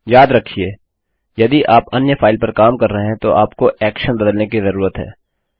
याद रखिये यदि आप अन्य फाइल पर काम कर रहे है तो आपको एक्शन बदलने की जरूरत है